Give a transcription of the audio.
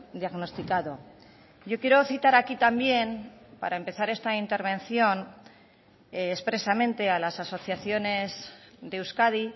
diagnosticado yo quiero citar aquí también para empezar esta intervención expresamente a las asociaciones de euskadi